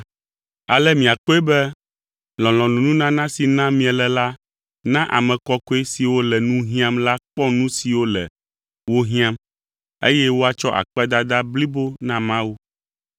Ale miakpɔe be lɔlɔ̃nunana si nam miele la na ame kɔkɔe siwo le nu hiãm la kpɔ nu siwo le wo hiãm, eye woatsɔ akpedada blibo na Mawu.